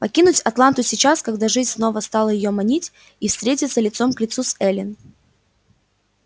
покинуть атланту сейчас когда жизнь снова стала её манить и встретиться лицом к лицу с эллин